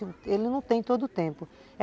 Ele não tem todo o tempo.